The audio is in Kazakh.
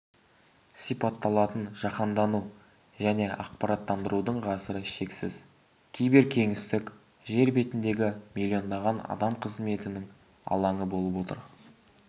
сипатталатын жаһандану және ақпараттандырудың ғасыры шексіз киберкеңістік жер бетіндегі миллиондаған адам қызметінің алаңы болып отыр